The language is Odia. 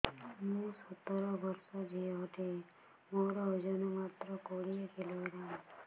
ମୁଁ ସତର ବର୍ଷ ଝିଅ ଟେ ମୋର ଓଜନ ମାତ୍ର କୋଡ଼ିଏ କିଲୋଗ୍ରାମ